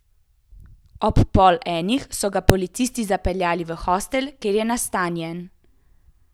Ob pol enih so ga policisti zapeljali v hostel, kjer je nastanjen!